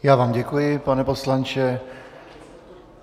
Já vám děkuji, pane poslanče.